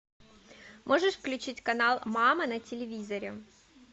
можешь включить канал мама на телевизоре